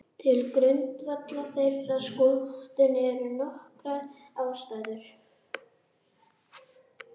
Til grundvallar þeirri skoðun eru nokkrar ástæður.